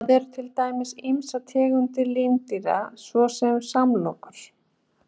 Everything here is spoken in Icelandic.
Þetta eru til dæmis ýmsar tegundir lindýra svo sem samlokur.